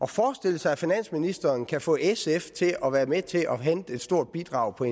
forestille sig at finansministeren kan få sf til at være med til at hente et stort bidrag fra